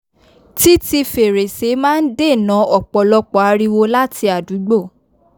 títi fèrèsé máa n dènà òpòlọpò ariwo lati àdúgbò